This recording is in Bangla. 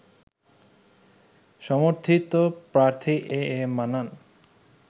সমর্থিত প্রার্থী এ এ মান্নান